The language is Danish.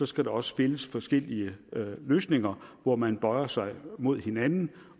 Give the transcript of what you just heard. skal der også findes forskellige løsninger hvor man bøjer sig mod hinanden